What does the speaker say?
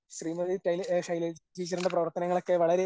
ശ്രീമതി ശൈലജ ടീച്ചറിന്റെ പ്രവർത്തനങ്ങൾ ഒക്കെ വളരെ